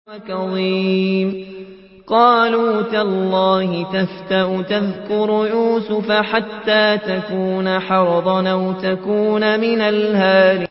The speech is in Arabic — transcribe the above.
قَالُوا تَاللَّهِ تَفْتَأُ تَذْكُرُ يُوسُفَ حَتَّىٰ تَكُونَ حَرَضًا أَوْ تَكُونَ مِنَ الْهَالِكِينَ